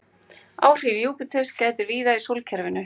Áhrifa Júpíters gætir víða í sólkerfinu.